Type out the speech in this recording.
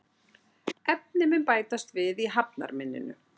Efni mun bætast við í hafnarmynninu